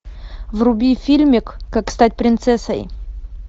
вруби фильмик как стать принцессой